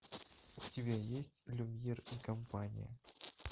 у тебя есть люмьер и компания